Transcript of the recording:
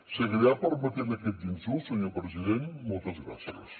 seguirà permetent aquests insults senyor president moltes gràcies